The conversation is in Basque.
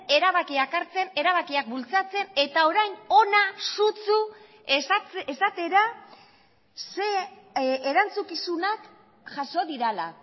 erabakiak hartzen erabakiak bultzatzen eta orain hona sutsu esatera ze erantzukizunak jaso direla